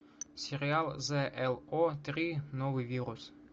сериал з л о три новый вирус